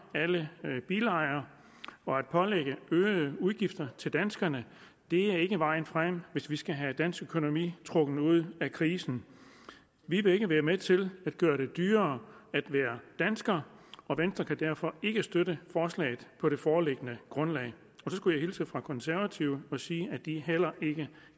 alle bilejere og at pålægge øgede udgifter til danskerne er ikke vejen frem hvis vi skal have dansk økonomi trukket ud af krisen vi vil ikke være med til at gøre det dyrere at være dansker og venstre kan derfor ikke støtte forslaget på det foreliggende grundlag så skulle jeg hilse fra konservative og sige at de heller ikke